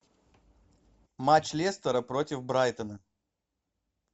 матч лестера против брайтона